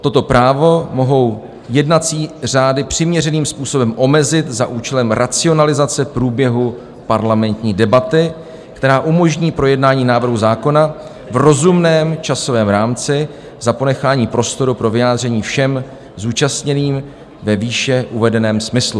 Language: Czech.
Toto právo mohou jednací řády přiměřeným způsobem omezit za účelem racionalizace průběhu parlamentní debaty, která umožní projednání návrhu zákona v rozumném časovém rámci za ponechání prostoru pro vyjádření všem zúčastněným ve výše uvedeném smyslu."